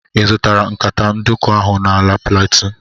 Ị zụtara nkata nduku ahụ n'ala plateau?